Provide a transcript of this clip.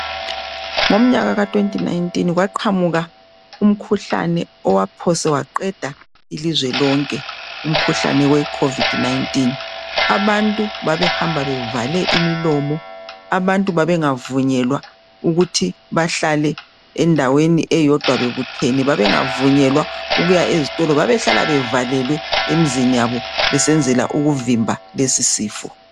ngomnyaka ka 2019 kwaqamuka umkhuhlane owaphosa waqeda ilizwe lonke umkhuhlane we COVID 19 abantu babehamba bevale imilomo abantu babengavunyelwa ukuthi bahlale endaweni eyodwa bebuthene bengavunyelwa ukuya ezitolo babehlala bevalelwe emzini yabo besenzela ukuvimba lesi sifo